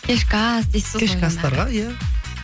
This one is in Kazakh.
кешкі ас дейсіз ғой кешкі астарға иә